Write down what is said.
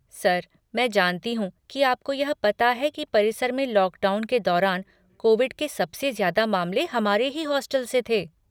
Sir, मैं जानती हूँ कि आपको यह पता है कि परिसर में लॉकडाउन के दौरान कोविड के सबसे ज़्यादा मामले हमारे ही हॉस्टल से थे।